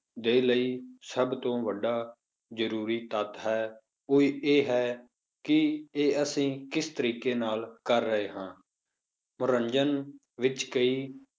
ਦੇ ਲਈ ਸਭ ਤੋਂ ਵੱਡਾ ਜ਼ਰੂਰੀ ਤੱਤ ਹੈ, ਉਹ ਇਹ ਹੈ ਕਿ ਇਹ ਅਸੀਂ ਕਿਸ ਤਰੀਕੇ ਨਾਲ ਕਰ ਰਹੇ ਹਾਂ, ਮਨੋਰੰਜਨ ਵਿੱਚ ਕਈ